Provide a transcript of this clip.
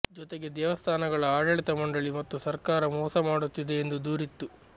ಜೊತೆಗೆ ದೇವಸ್ಥಾನಗಳ ಆಡಳಿತ ಮಂಡಳಿ ಮತ್ತು ಸರ್ಕಾರ ಮೋಸಮಾಡುತ್ತಿದೆ ಎಂದೂ ದೂರಿತ್ತು